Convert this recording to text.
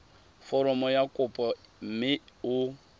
foromo ya kopo mme o